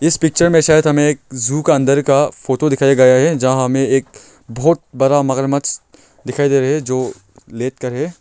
इस पिक्चर शायद हमे एक जू का अन्दर का फोटो दिखाया गया है जहां हमें एक बहुत बड़ा मगरमच्छ दिखाई दे रहा है जो लेट के है।